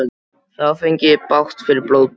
Þá fengi ég bágt fyrir blótið.